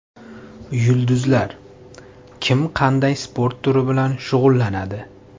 Yulduzlar: kim qanday sport turi bilan shug‘ullanadi?